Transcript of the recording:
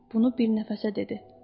Bunu bir nəfəsə dedi.